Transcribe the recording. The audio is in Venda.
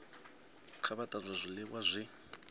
kha vha tanzwe zwiliwa zwi